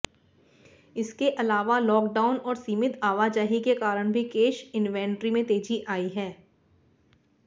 इसके अलावा लॉकडाउन और सीमित आवाजाही के कारण भी कैश इनवेंट्री में तेजी आई है